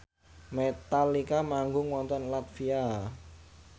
Metallica manggung wonten latvia